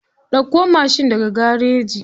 Ɗauko mashin daga garaji.